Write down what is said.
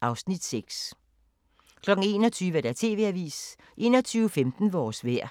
(Afs. 6) 21:00: TV-avisen 21:15: Vores vejr